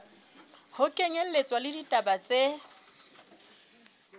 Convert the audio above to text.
ho kenyelletswa le ditaba tse